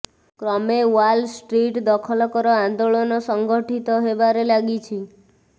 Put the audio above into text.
କ୍ରମେ Wall Street ଦଖଲକର ଆନ୍ଦୋଳନ ସଂଗଠିତ ହେବାରେ ଲାଗିଛି